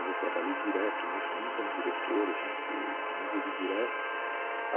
Eu trabalhei direto nisso, mesmo como diretor, a gente... me envolvi direto.